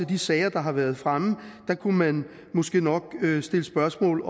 de sager der har været fremme kunne man måske nok stille spørgsmål